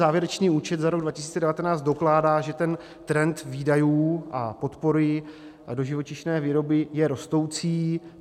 Závěrečný účet za rok 2019 dokládá, že ten trend výdajů a podpory do živočišné výroby je rostoucí.